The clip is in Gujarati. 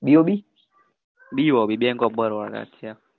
bob bank of Baroda